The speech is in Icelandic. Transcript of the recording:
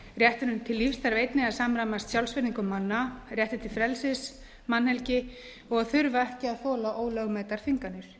rétturinn til lífs þarf einnig að samræmast sjálfsvirðingu manna rétti til frelsis mannhelgi og að þurfa ekki að þola ólögmætar þvinganir